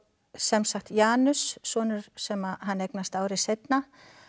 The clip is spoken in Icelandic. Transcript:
sem sagt Janus sonur sem hann eignast ári seinna